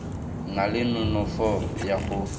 na le nonofo ya go